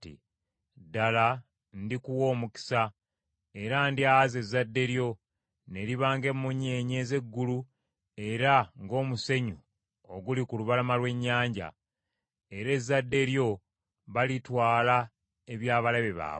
ddala ndikuwa omukisa, era ndyaza ezzadde lyo, ne liba ng’emmunyeenye ez’eggulu era ng’omusenyu oguli ku lubalama lw’ennyanja. Era ezzadde lyo balitwala eby’abalabe baabwe,